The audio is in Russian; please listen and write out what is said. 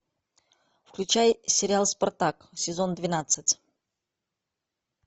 включай сериал спартак сезон двенадцать